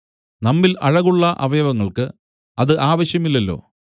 നമ്മിൽ അഴകുള്ള അവയവങ്ങൾക്ക് അത് ആവശ്യമില്ലല്ലോ